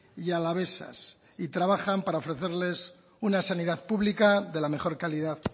y alavesas y trabajan para ofrecerles una sanidad pública de la mejor calidad